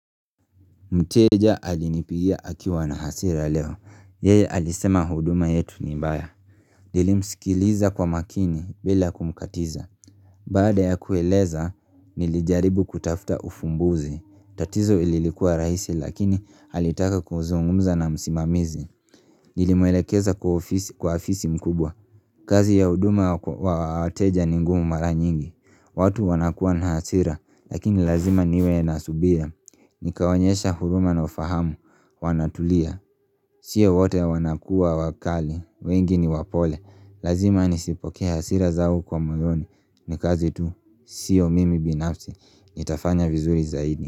Mteja alinipigia akiwa na hasira leo. Yeye alisema huduma yetu ni mbaya. Nilimsikiliza kwa makini bila kumkatiza. Baada ya kueleza, nilijaribu kutafuta ufumbuzi. Tatizo lililikua rahisi lakini alitaka kuzungumza na msimamizi. Nilimwelekeza kwa ofisi mkubwa. Kazi ya huduma wa wateja ni ngumu mara nyingi. Watu wanakua na hasira lakini lazima niwe na subira. Nikawaonyesha huruma na ufahamu Wanatulia Sio wote wanakua wakali wengi ni wapole Lazima nisipokee hasira zao kwa moyoni ni kazi tu Sio mimi binafsi Nitafanya vizuri zaidi.